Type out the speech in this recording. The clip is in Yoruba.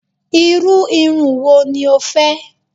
Iru irun wo ni o fẹ?